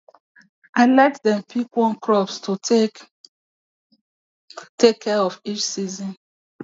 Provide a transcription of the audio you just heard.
i let dem pick one crop to take care of each season